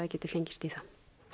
geti fengist í það